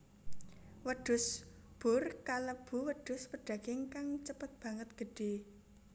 Wedhus boer kalebu wedhus pedaging kang cepet banget gedhé